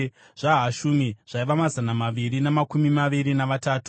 zvaHashumi zvaiva mazana maviri namakumi maviri navatatu;